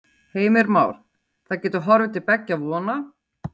Heimir Már: Það getur horfið til beggja vona?